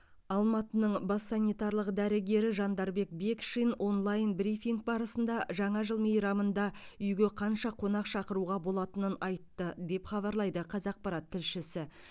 алматының бас санитарлық дәрігері жандарбек бекшин онлайн брифинг барысында жаңа жыл мейрамында үйге қанша қонақ шақыруға болатынын айтты деп хабарлайды қазақпарат тілшісі